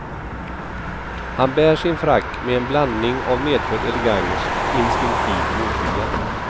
Han bär sin frack med en blandning av medfödd elegans och instinktiv motvilja.